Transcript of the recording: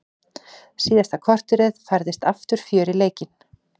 Síðasta korterið færðist aftur fjör í leikinn.